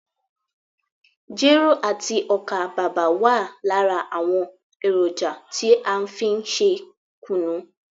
Jero àti ọ́kà bàbà wa lára àwọn èròjà tí a fí n ṣe kùnú.